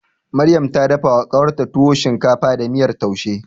Maryam ta dafawa ƙawarta tuwo shinkafa da miyar taushe.